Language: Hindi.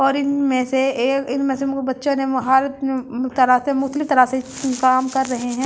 और इन में से एक इन में से मु बच्चे ने मुहारत अम्म तरह से मुख्तलिफ तरह से काम कर रहे है ।